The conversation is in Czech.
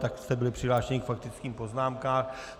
Tak jste byli přihlášeni k faktickým poznámkám.